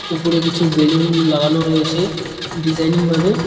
উপরে কিছু বেলুন লাগানো রয়েছে ডিজাইনিং -ভাবে।